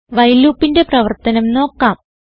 while loopന്റെ പ്രവർത്തനം നോക്കാം